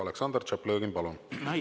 Aleksandr Tšaplõgin, palun!